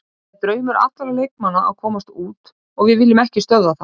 Það er draumur allra leikmanna að komast út og við viljum ekki stöðva það.